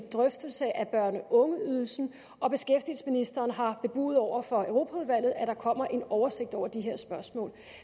drøftelse af børne og ungeydelsen og beskæftigelsesministeren har bebudet over for europaudvalget at der kommer en oversigt over de her spørgsmål